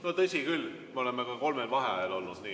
No tõsi küll, me oleme ka kolmel vaheajal olnud.